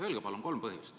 Öelge palun kolm põhjust.